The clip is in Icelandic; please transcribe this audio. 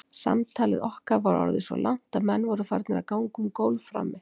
Samtalið okkar var orðið svo langt að menn voru farnir að ganga um gólf frammi.